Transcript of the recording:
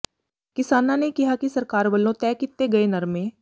ਕਿਸਾਨਾਂ ਨੇ ਕਿਹਾ ਕਿ ਸਰਕਾਰ ਵੱਲੋਂ ਤੈਅ ਕੀਤੇ ਗਏ ਨਰਮੇ